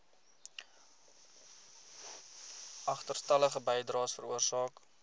agterstallige bydraes veroorsaak